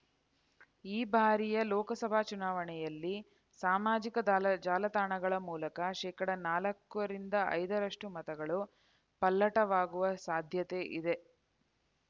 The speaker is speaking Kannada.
ಈ ಬಾರಿಯ ಲೋಕಸಭಾ ಚುನಾವಣೆಯಲ್ಲಿ ಸಾಮಾಜಿಕ ದಾಲ ಜಾಲ ತಾಣಗಳ ಮೂಲಕ ಶೇಕಡಾ ನಾಲ್ಕರಿಂದ ಐದರಷ್ಟು ಮತಗಳು ಪಲ್ಲಟವಾಗುವ ಸಾಧ್ಯತೆ ಇದೆ